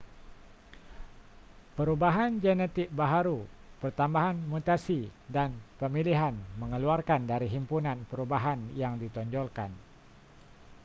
perubahan genetik baharu pertambahan mutasi dan pemilihan mengeluarkan dari himpunan perubahan yang ditonjolkan